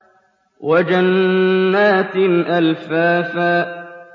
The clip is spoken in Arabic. وَجَنَّاتٍ أَلْفَافًا